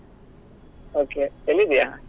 Okay ಎಲ್ಲಿ ಇದ್ಯಾ?